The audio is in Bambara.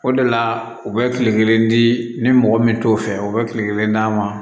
O de la u bɛ kile kelen di ni mɔgɔ min t'o fɛ o bɛ kile kelen d'a ma